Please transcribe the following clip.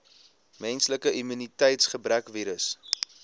menslike immuniteitsgebrekvirus